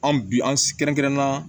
An bi an kɛrɛnkɛrɛnna